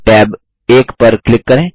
tab 1 पर click करें